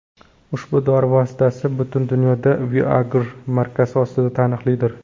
Ushbu dori vositasi butun dunyoda Viagra markasi ostida taniqlidir.